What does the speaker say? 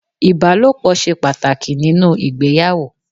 Ìbálòpọ̀ ṣe pàtàkì nínú ìgbéyàwó.